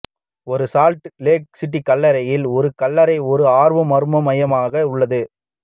ஒரு Salt Lake City கல்லறையில் ஒரு கல்லறை ஒரு ஆர்வம் மர்மம் மையமாக உள்ளது